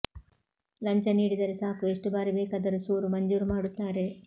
ಲಂಚ ನೀಡಿದರೆ ಸಾಕು ಎಷ್ಟು ಬಾರಿ ಬೇಕಾದರೂ ಸೂರು ಮಂಜೂರು ಮಾಡುತ್ತಾರೆ